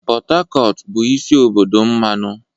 Pot Tacotu bụ isi obodo mmanụ.